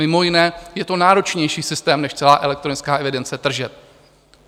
Mimo jiné je to náročnější systém než celá elektronická evidence tržeb.